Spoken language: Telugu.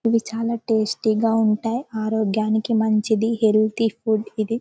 ఇవి చాలా టేస్టీ గా ఉంటై ఆరోగ్యానికి మంచిది హెల్ది ఫుడ్ ఇది.